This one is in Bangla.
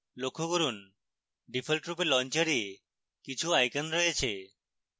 লক্ষ্য করুন ডিফল্টরূপে launcher কিছু icons রয়েছে